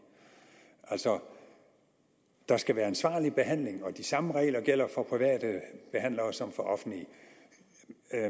altså der skal være ansvarlig behandling og de samme regler gælder for private behandlere som for offentlige